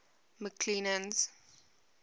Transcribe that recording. mcclennan's